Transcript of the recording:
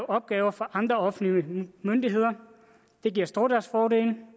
opgaver for andre offentlige myndigheder det giver stordriftsfordele en